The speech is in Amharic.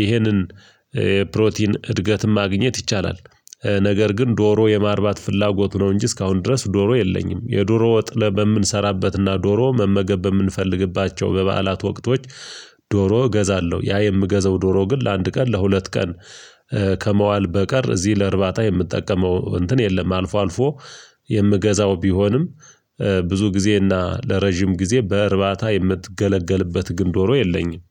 ይህንን ፕሮቲን እድገትም ማግኘት ይቻላል። ነገር ግን ዶሮ የማርባት ፍላጎት ነው እንጂ እስካሁን ድረስ ዶሮ የለኝም። የዶሮ ወጥ በምንሰራበትና ዶሮ መመገብ በምንፈልግባቸው በበዓላት ወቅቶች ዶሮ እገዛለሁ ያ የምገዘው ዶሮ ግን ለአንድ ቀን ለሁለት ቀን ከመዋል በቀር እዚህ ለእርባታ የምጠቀመው እንትን የለም። አልፎ አልፎ የምገዛው ቢሆንም ብዙ ጊዜ እና ለረጅም ጊዜ በእርባታ የምትገለገልበት ግን ዶሮ የለኝም